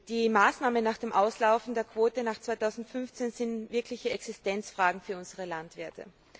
Die Maßnahmen nach dem Auslaufen der Quote nach 2015 sind wirkliche Existenzfragen für unsere Landwirte.